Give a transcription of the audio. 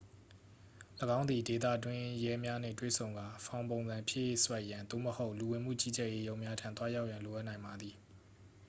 ၎င်းသည် ဒေသတွင်းရဲများနှင့်တွေ့ဆုံကာ ဖောင်ပုံစံဖြည့်စွက်ရန် သို့မဟုတ် လူဝင်မှု ကြီးကြပ်ရေးရုံးများထံ သွားရောက်ရန် လိုအပ်နိုင်ပါသည်